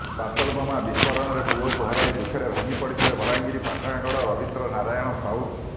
parcel ବୋମା ବିସ୍ଫୋରଣରେ ପୁଅକୁ ହରାଇ ଦୁଃଖରେ ଭାଙ୍ଗିପଡ଼ିଥିଲେ ବଲାଙ୍ଗିର ପାଟଣାଗଡ଼ର ରବୀନ୍ଦ୍ର ନାରାୟଣ ସାହୁ